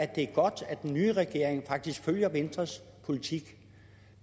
det er godt at den nye regering faktisk følger venstres politik